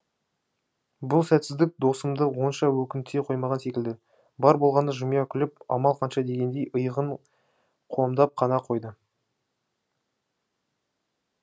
бұл сәтсіздік досымды онша өкінте қоймаған секілді бар болғаны жымия күліп амал қанша дегендей иығын қомдап қана қойды